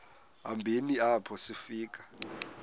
hambeni apho sifika